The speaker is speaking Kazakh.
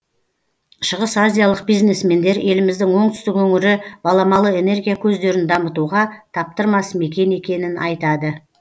шығыс азиялық бизнесмендер еліміздің оңтүстік өңірі баламалы энергия көздерін дамытуға таптырмас мекен екенін айтады